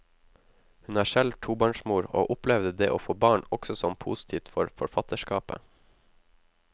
Hun er selv tobarnsmor, og opplevde det å få barn også som positivt for forfatterskapet.